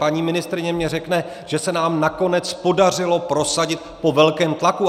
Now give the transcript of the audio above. Paní ministryně mně řekne, že se nám nakonec podařilo prosadit, po velkém tlaku.